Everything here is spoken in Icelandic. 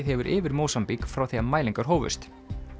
hefur yfir Mósambík frá því mælingar hófust